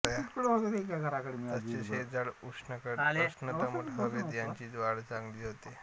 तसेच हे झाड उष्णदमट हवेत याची वाढ चांगली होते